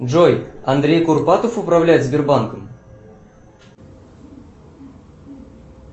джой андрей курпатов управляет сбербанком